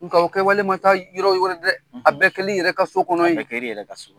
Nka kɛ wale ma taa yɔrɔ yɔrɔ wɛ dɛ a bɛɛ kelen i yɛrɛ ka so kɔnɔ ye a bɛ kɛla i yɛrɛ ka so kɔnɔ